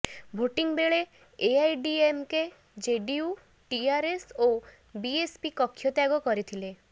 voting ବେଳେ AIADMK JDU TRS ଓ BSP କକ୍ଷତ୍ୟାଗ କରିଥିଲେ